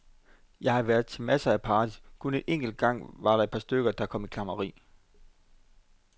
Jeg har været til masser af parties, kun en eneste gang var der et par stykker, der kom i klammeri.